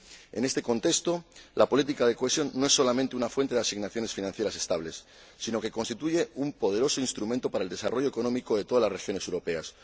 En este contexto, la política de cohesión no es solamente una fuente de asignaciones financieras estables, sino que constituye un poderoso instrumento para el desarrollo económico de todas las regiones europeas.